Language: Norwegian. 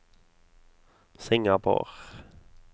Singapore